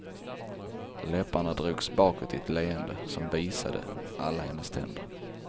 Läpparna drogs bakåt i ett leende som visade alla hennes tänder.